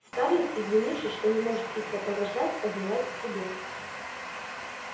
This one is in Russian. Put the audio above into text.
скарлетт извинившись что не может их сопровождать поднялась к себе